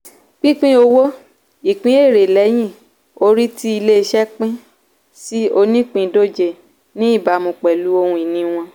pínpín owó - ìpín èrè lẹ́yìn-orí tí ilé-iṣẹ́ pín sí onípìndóje ní ìbámu pẹ̀lú ohun-ìní wọn.